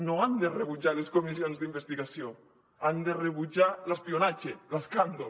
no han de rebutjar les comissions d’investigació han de rebutjar l’espionatge l’escàndol